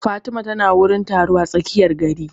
Fatima ta na wurin taro a tsakiyar gari